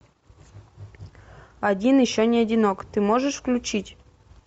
один еще не одинок ты можешь включить